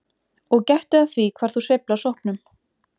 Og gættu að því hvar þú sveifla sópnum.